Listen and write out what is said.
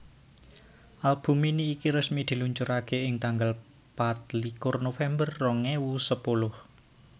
Album mini iki resmi diluncuraké ing tanggal patlikur November rong ewu sepuluh